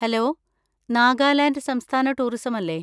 Hello! Nagaland സംസ്ഥാന tourism അല്ലെ?